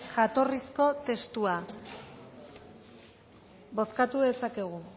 jatorrizko testua bozkatu dezakegu